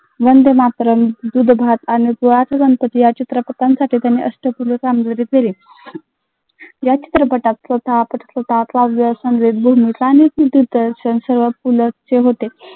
वंदे मातरम, या चित्रपटांसाठी त्यांनी कामगिरी केली.